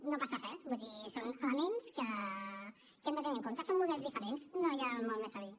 no passa res vull dir són elements que hem de tenir en compte són models diferents no hi ha molt més a dir